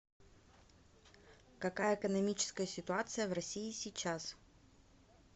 какая экономическая ситуация в россии сейчас